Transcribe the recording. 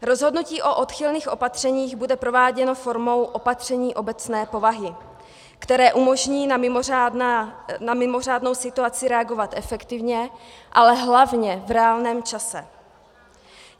Rozhodnutí o odchylných opatřeních bude prováděno formou opatření obecné povahy, které umožní na mimořádnou situaci reagovat efektivně, ale hlavně v reálném čase.